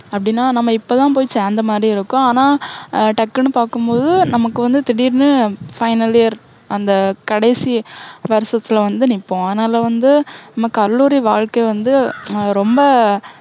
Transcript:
அப்படின்னா நம்ம இப்போ தான் போயி சேர்ந்த மாதிரி இருக்கும். ஆனா உம் டக்குன்னு பாக்கும் போது நமக்கு வந்து திடீர்னு, final year அந்த, கடைசி வருஷத்துல வந்து நிப்போம். அதனால வந்து, நம்ம கல்லூரி வாழ்க்கை வந்து, ஹம் ரொம்ப